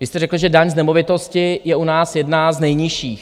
Vy jste řekl, že daň z nemovitosti je u nás jedna z nejnižších.